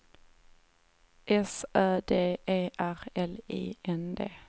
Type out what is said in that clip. S Ö D E R L I N D